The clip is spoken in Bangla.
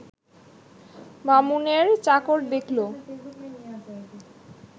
বামুনের চাকর দেখল